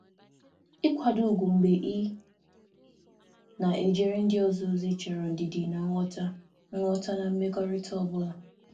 Ịnọgide na-enwe ugwu mgbe m na-ejere ndị ọzọ ozi chọrọ ndidi na nghọta n’ime mmekọrịta ọ bụla.